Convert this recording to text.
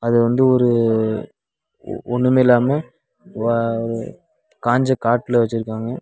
அது வந்து ஒரு ஒன்னுமில்லாம வ காஞ்ச காட்டுல வச்சிருக்காங்க.